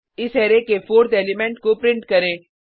इस अरै के 4थ एलिमेंट को प्रिंट करें